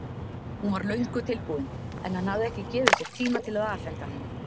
Hún var löngu tilbúin en hann hafði ekki gefið sér tíma til að afhenda hana.